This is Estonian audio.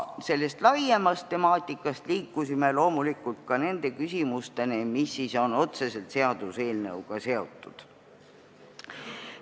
Sellest laiemast temaatikast liikusime loomulikult nende küsimusteni, mis on otseselt seaduseelnõuga seotud.